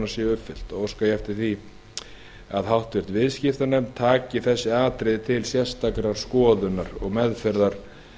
séu uppfyllt óska ég því eftir því að háttvirtur viðskiptanefnd taki þessi atriði til sérstakrar skoðunar og meðferðar